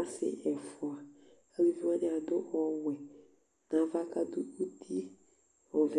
ɔsi ɛfʋa Alʋvi wani adu ɔwɛ nʋ ava kʋ adu ʋti ɔvɛ